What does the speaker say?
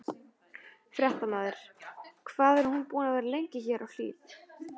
Fréttamaður: Hvað er hún búin að vera lengi hér á Hlíð?